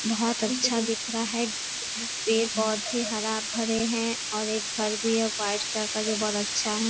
बहोत अच्छा दिख रहा है। पेड़ पौधे हरा भरे है और एक घर भी है जो व्हाइट कलर का जो बहोत ही अच्छा है।